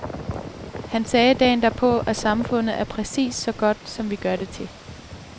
Han sagde dagen derpå, at samfundet er præcis så godt, som vi gør det til.